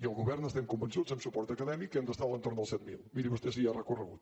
i el govern estem convençuts amb suport acadèmic que hem d’estar a l’entorn dels set mil miri vostè si hi ha recorregut